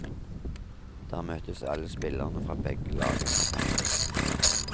Der møtes alle spillerne fra begge lag etter kampen.